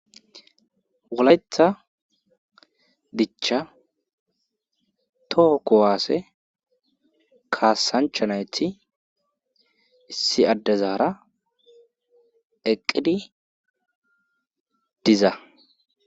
Woletha dicha too kowaase kaasanchanayti issi addezaara eqqidi diza.